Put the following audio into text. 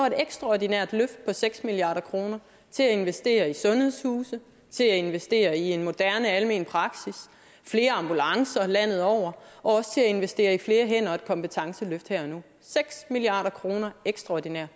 et ekstraordinært løft på seks milliard kroner til at investere i sundhedshuse til at investere i en moderne almen praksis flere ambulancer landet over og også til at investere i flere hænder og et kompetenceløft her og nu seks milliard kroner ekstraordinært